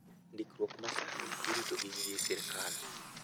Ndikruok ma sani irito gi gige sirkal